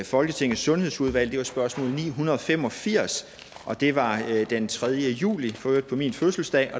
folketingets sundhedsudvalg det var spørgsmål ni hundrede og fem og firs og det var den tredje juli for øvrigt på min fødselsdag